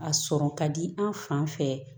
A sɔrɔ ka di an fan fɛ